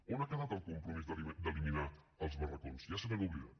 on ha quedat el compromís d’eliminar els barracots ja se n’han oblidat